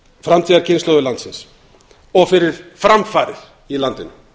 framtíðarkynslóðir landsins og fyrir framfarir í landinu